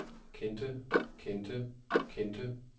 kendte kendte kendte